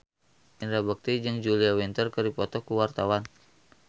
Indra Bekti jeung Julia Winter keur dipoto ku wartawan